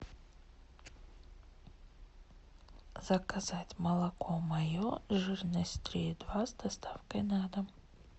заказать молоко мое жирность три и два с доставкой на дом